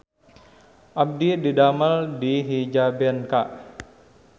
Abdi didamel di Hijabenka